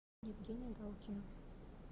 евгения галкина